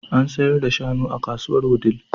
An sayar da shanu a kasuwar Wudil.